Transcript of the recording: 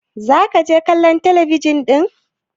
za ka je kallon talabijin din!